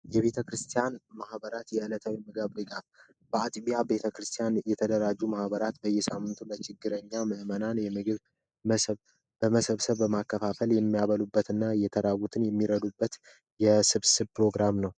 የቤተክርስቲያን ማህበራት የእለት ተግባር በቤተክርስቲያን የተደራጁ ማህበራት በየሳምንቱ ለችግረኛ ምዕመናን ምግብ በመሰብሰብ በማከፋፈል የሚያበሉበት እና የተራቡትን የሚረዱበት የስብስብ ፕሮግራም ነው።